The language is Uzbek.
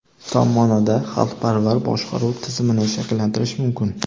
tom maʼnoda xalqparvar boshqaruv tizimini shakllantirish mumkin.